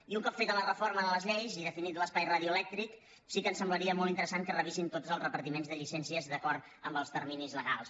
i un cop feta la reforma de les lleis i definit l’espai radioelèctric sí que ens semblaria molt interessant que revisessin tots els repartiments de llicències d’acord amb els terminis legals